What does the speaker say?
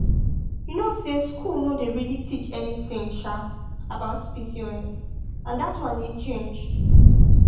you know say school no dey really teach anything um about pcos and that one need change